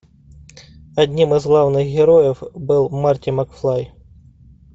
одним из главных героев был марти макфлай